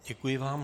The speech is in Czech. Děkuji vám.